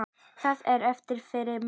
Hvað er eftir fyrir mig?